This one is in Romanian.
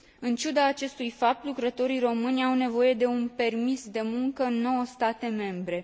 În ciuda acestui fapt, lucrătorii români au nevoie de un permis de muncă în nouă state membre.